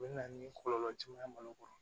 O bɛ na ni kɔlɔlɔ caman ye malo kɔrɔ